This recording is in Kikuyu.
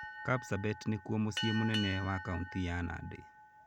Kapsabet nĩkuo mũciĩ mũnene wa kaũntĩ ya Nandi.